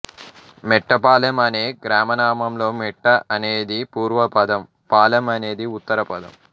మెట్టపాలెం అనే గ్రామనామంలో మెట్ట అనేది పూర్వపదం పాలెం అనేది ఉత్తరపదం